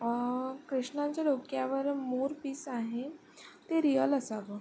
अ कृष्णाच्या डोक्यावर मोरपिस आहे ते रीयल असावं.